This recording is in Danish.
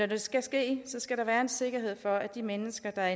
det skal ske skal der være en sikkerhed for at de mennesker der